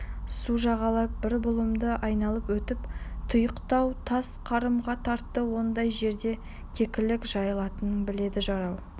су жағалап бір бұлымды айналып өтіп тұйықтау тас қорымға тартты ондай жерде кекілік жайылатынын біледі жарау